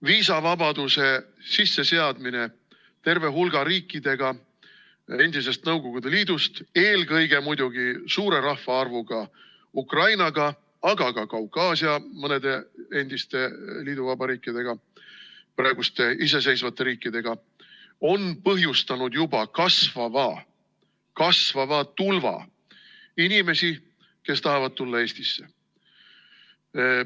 Viisavabaduse sisseseadmine terve hulga riikidega endisest Nõukogude Liidust, eelkõige muidugi suure rahvaarvuga Ukrainaga, aga ka Kaukaasia mõne endise liiduvabariigiga, praeguste iseseisvate riikidega, on põhjustanud juba kasvava tulva inimesi, kes tahavad tulla Eestisse.